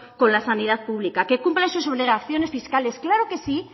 con la sanidad pública que cumplen sus obligaciones fiscales claro que sí